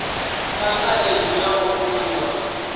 fha khaedu ya u vhumba